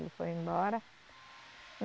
Ele foi embora.